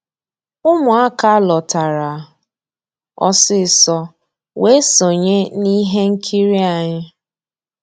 Ụmụ́àká lọ́tárá ọsísọ weé sonyéé n'íhé nkírí ànyị́.